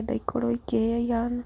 ũrenda ikĩhĩa ihana.